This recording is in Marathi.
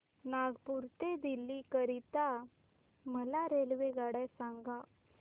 नागपुर ते दिल्ली करीता मला रेल्वेगाड्या सांगा